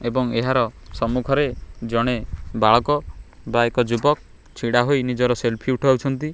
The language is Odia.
ଏବଂ ଏହାର ସମ୍ମୁଖରେ ଜଣେ ବାଳକ ବା ଏକ ଯୁବକ୍ ଛିଡା ହୋଇ ନିଜର ସେଲଫି ଉଠାଉଛନ୍ତି।